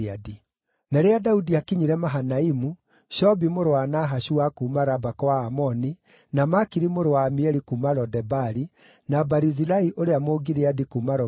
Na rĩrĩa Daudi aakinyire Mahanaimu, Shobi mũrũ wa Nahashu wa kuuma Raba kwa Aamoni, na Makiri mũrũ wa Amieli kuuma Lo-Debari, na Barizilai ũrĩa Mũgileadi kuuma Rogelimu